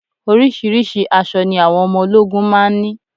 Oríṣiríṣi àṣọ ni àwọn ọmọ ológun máa ń ní